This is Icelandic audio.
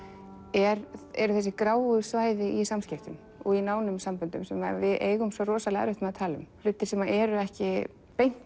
eru eru þessi gráu svæði í samskiptum og í nánum samböndum sem við eigum svo rosalega erfitt með að tala um hlutir sem eru ekki beint